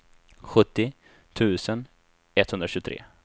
sjuttio tusen etthundratjugotre